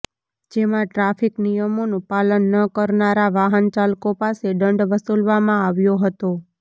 જેમાં ટ્રાફિક નિયમોનુ પાલન ન કરનારા વાહન ચાલકો પાસે દંડ વસુલવામાં આવ્યો હતો